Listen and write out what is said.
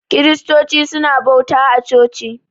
Kiristoci suna bauta a coci.